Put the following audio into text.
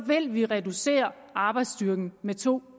vil vi reducere arbejdsstyrken med to